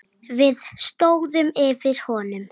Við stóðum yfir honum.